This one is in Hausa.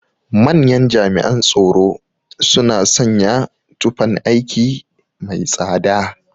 Manyan jami'an tsoro suna sanya tufan aiki mai tsada.